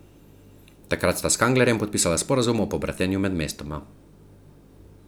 Takrat sta s Kanglerjem podpisala sporazum o pobratenju med mestoma.